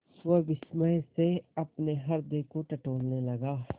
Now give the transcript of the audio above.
वह विस्मय से अपने हृदय को टटोलने लगा